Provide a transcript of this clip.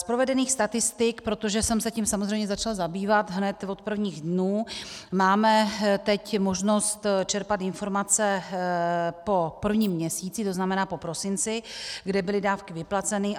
Z provedených statistik - protože jsem se tím samozřejmě začala zabývat hned od prvních dnů, máme teď možnost čerpat informace po prvním měsíci, to znamená po prosinci, kde byly dávky vyplaceny.